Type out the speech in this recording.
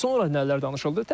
Sonra nələr danışıldı?